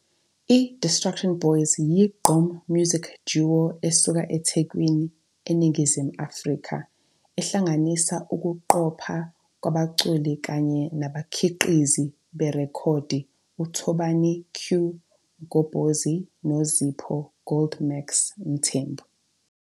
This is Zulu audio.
I-Distruction Boyz yiGqom music duo esuka eThekwini, eNingizimu Afrika ehlanganisa ukuqoshwa kwabaculi kanye nabakhiqizi berekhodi uThobani "Que" Mgobhozi noZipho "Goldmax" Mthembu.